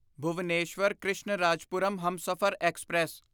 Bhubaneswar Krishnarajapuram Humsafar express